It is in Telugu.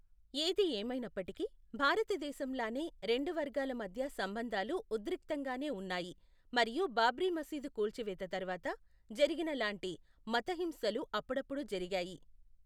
ఏది ఏమైనప్పటికీ, భారతదేశంలానే, రెండు వర్గాల మధ్య సంబంధాలు ఉద్రిక్తంగానే ఉన్నాయి మరియు బాబ్రీ మసీదు కూల్చివేత తర్వాత జరిగిన లాంటి మత హింసలు అప్పుడప్పుడు జరిగాయి.